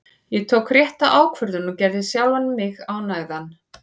Ég tók rétta ákvörðun og gerði sjálfan mig ánægðan.